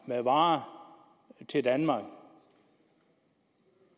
med varer til danmark